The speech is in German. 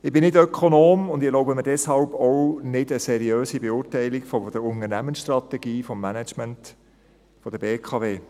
Ich bin nicht Ökonom und erlaube mir deshalb auch nicht eine seriöse Beurteilung der Unternehmensstrategie des Managements der BKW.